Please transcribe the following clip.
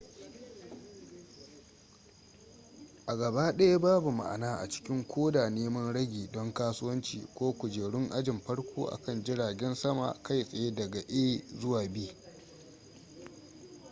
a gabaɗaya babu ma'ana a cikin koda neman ragi don kasuwanci ko kujerun ajin farko a kan jiragen sama kai tsaye daga a zuwa b